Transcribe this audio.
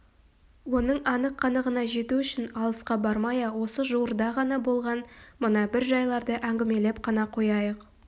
оның анық-қанығына жету үшін алысқа бармай-ақ осы жуырда ғана болған мына бір жайларды әңгімелеп қана қояйық